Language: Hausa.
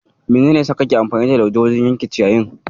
Menene ya saka kake amfani da lauje wajen yanke ciyayin?